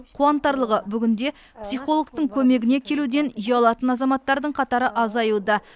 қуантарлығы бүгінде психологтың көмегіне келуден ұялатын азаматтардың қатары азаюда